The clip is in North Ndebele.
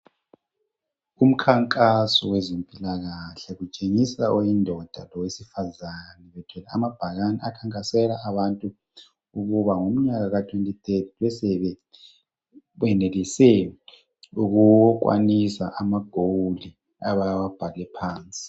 Umkhankaso wezempilakahle kutshengisa oyindoda lowesifazana bethwele amabhakane akhankasela abantu ukuba ngomnyaka ka 2030 bebe sebe kwenelise ukukwanisa ama goal abawabhale phansi.